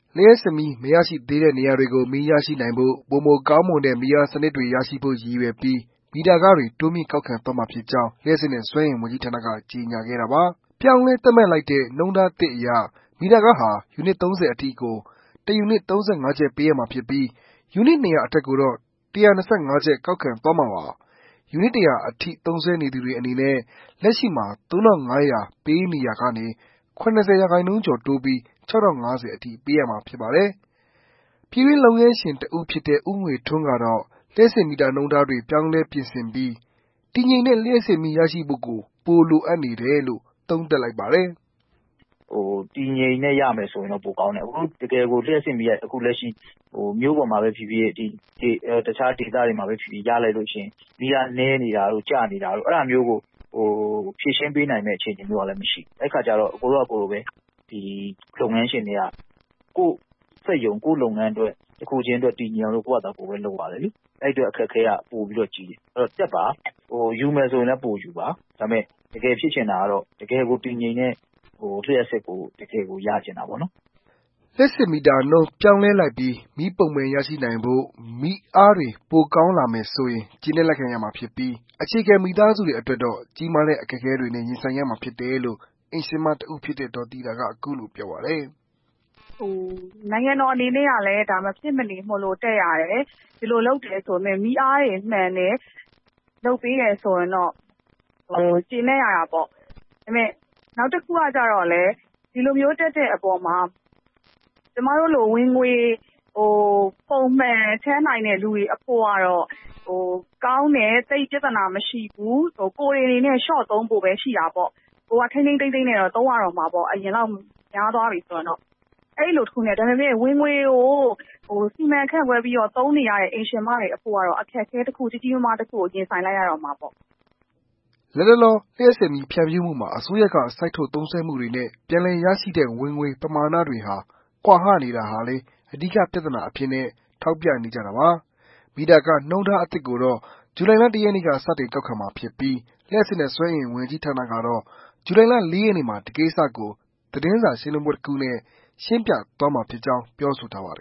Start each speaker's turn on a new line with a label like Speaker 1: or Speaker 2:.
Speaker 1: လျှပ်စစ်မီး မရရှိသေးတဲ့ နေရာတွေကို မီးရရှိနိုင်ဖို့၊ ပိုမိုကောင်းမွန်တဲ့ မီးအားစနစ်တွေရရှိဖို့ ရည်ရွယ်ပြီး၊ မီတာခတွေ တိုးမြှင့်ကောက်ခံသွားမှာဖြစ်ကြောင်း လျှပ်စစ်နဲ့ စွမ်းအင်ဝန်ကြီးဌာန က ကြေညာခဲ့တာပါ။ ပြောင်းလဲသတ်မှတ်လိုက်တဲ့ နှုန်းထားအသစ်အရ မီတာခဟာ ယူနစ် ၃၀ အထိ ကို တစ်ယူနစ် ၃၅ ကျပ် ပေးရမှာဖြစ်ပြီး၊ ယူနစ်၂၀၀ အထက်ကိုတော့ ၁၂၅ကျပ် ကောက်ခံသွားမှာပါ။ ယူနစ် ၁၀၀ အထိ သုံးစွဲနေသူတွေအနေနဲ့ကတော့ လက်ရှိမှာ ကျပ် ၃၅၀၀ ပေးနေရာကနေ ၇၀ ရာခိုင်နှုန်းကျော်တိုးပြီး ၆၀၅၀ အထိ ပေးရမှာ ဖြစ်ပါတယ်။ ပြည်တွင်း လုပ်ငန်းရှင်တစ်ဦးဖြစ်တဲ့ ဦးငွေထွန်းကတော့ လျှပ်စစ်မီတာနှုန်းထားတွေ ပြင်ဆင်ပြောင်းလဲပြီး တည်ငြိမ်တဲ့ လျှပ်စစ်မီးရရှိဖို့ လိုအပ်တယ်
Speaker 2: လို့ သုံးသပ်လိုက်ပါတယ်။ “တည်တည်ငြိမ်ငြိမ်နဲ့ ရမယ်ဆိုရင် ပိုကောင်းတာပေါ့နော်။ တကယ်ကိုလျှပ်စစ်မီးက အခုမြို့ပေါ်မှာပဲဖြစ်ဖြစ် ၊ တခြားဒေသတွေမှာပဲဖြစ်ဖြစ် ရလိုက်ရင် မီးအားနည်းနေတာတို့ ကျနေတာတို့ အဲဒါမျိုးကို ဖြေရှင်းပေးနိုင်မယ့်အခြေအနေမျိုးကလည်း မရှိဘူးလေ။ အဲ့ခါကျတော့ ကိုယ်တို့ လုပ်ငန်းရှင်တွက ကိုယ့်လုပ်ငန်းအတွက် တည်ငြိမ်အောင်လို့ ကိုယ့်ဘာကိုဘဲ လုပ်ရတယ်လေ။အဲ့အတွက် အခက်အခဲက ပိုကြီးတယ်။အဲ့တော့ မီတာခ တက်ပါ။ယူမယ်ဆိုလည်း ပိုယူပါ။တကယ်ဖြစ်ချင်တာကတော့ တကယ်တည်ငြိမ်တဲ့ လျှပ်စစ်ကို ရချင်တာပေါ့” လျှပ်စစ်မ
Speaker 1: ီတာနှုန်း ပြောင်းလဲလိုက်ပြီး မီးပုံမှန်ရရှိနိုင်ဖို့၊မီးအားတွေကောင်းလာမယ်ဆိုရင် ကျေနပ်လက်ခံရမှာဖြစ်ပီး အခြေခံ မိသားစုတွေအတွက်တော့ ကြီးမားတဲ့အခက်အခဲတွေနဲ့ ရင်ဆိုင်ရမှာဖြစ်တယ်လို့ အိမ်ရှင်မတစ်ဦးဖြစ်တဲ့ ဒေါ်သီတာက ပြောပါတယ်
Speaker 3: ။ “နိုင်ငံတော်အနေနဲ့ ကလည်း ဒါမဖြစ်မနေမို့ တက်ရတယ်ဆိုပေမဲ့ မီးအားတွေ မှန်တယ် လုပ်ပေးတယ် ဆိုရင်တော့ ကျေနပ်ရမှာပေါ့။ နောက်တခုကလည်း ဒီလိုမျိုးတက်တဲ့အပေါ်မှာ ကျမတို့လို ဝင်ေ၀ ပုံမှန်ထည့်နိုင်တဲ့ လူအဖို့ကတော့ ကောင်းတယ် သိပ်ပြဿနာမရှိဘူး။ ကိုယ်တွေ အနေနဲ့ လျော့သုံးဖို့ပဲရှိတာပေါ့ ကိုယ်က ထိန်းထိန်းသိမ်းသိမ်းနဲ့ သုံးရမှာပေါ့။ အရင်လောက်များသွားပြီဆိုရင်။ ဒါပေမယ့် ဝင်ငွေကို စီမံခန့်ခွဲ သုံးနေရတဲ့ အိမ်ရှင်မတွေ အဖို့ကတော့ အခက်အခဲ ကြီးကြီးမားမားကို ရင်ဆိုင်လိုက်ရမှာပေါ့။”
Speaker 1: လတ်တလော လျှပ်စစ်မီး ဖြန့်ဖြူးမှုမှာ အစိုးရက စိုက်ထုတ်သုံးစွဲမှုတွေနဲ့ ပြန်လည်ရရှိတဲ့ ဝင်ငွေပမာဏ ကွာဟနေတာဟာလည်း အဓိက ပြဿနာအဖြစ်နဲ့ ထောက်ပြနေကြတာပါ။ မီတာခနှုန်းထား အသစ်ကိုတော့ ဇူလိုင်လ ၁ ရက်နေ့ ကစတင် ကောက်ခံမှာဖြစ်ပြီး၊ လျှပ်စစ်နဲ့ စွမ်းအင်ဝန်ကြီးဌာနကတော့ ဇူလိုင်လ ၄ ရက်နေ့မှာ ဒီကိစ္စကို သတင်းစာရှင်းလင်းပွဲတခုနဲ့ ရှင်းပြသွားမှာဖြစ်ကြောင်း ပြောဆိုထားပါတယ